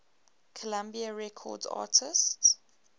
columbia records artists